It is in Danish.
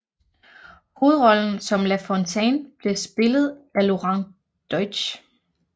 Hovedrollen som La Fontaine blev spillet af Lorant Deutsch